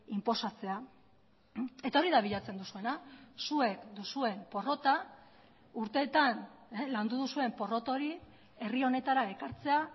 inposatzea eta hori da bilatzen duzuena zuek duzuen porrota urteetan landu duzuen porrot hori herri honetara ekartzea